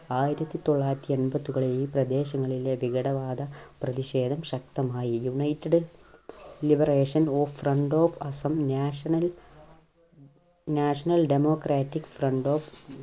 ആയിരത്തിത്തൊള്ളായിരത്തി അമ്പതുകളിൽ ഈ പ്രദേശങ്ങളിലെ വിഘടവാദ പ്രതിഷേധം ശക്തമായി United Liberation Of Front Of Assam National National Democratic Front Of